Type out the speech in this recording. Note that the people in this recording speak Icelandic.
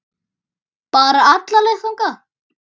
Bara alla leið þangað!